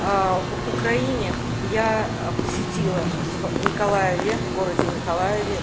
в украине я посетила в николаеве в городе николаеве